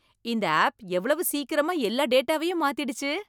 இந்த ஆப் எவ்வளவு சீக்கிரமா எல்லா டேட்டாவையும் மாத்திடுச்சு!